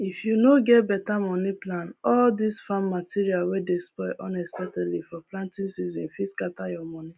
if you no get better money plan all this farm materials wey dey spoil unexpectedly for planting season fit scatter your money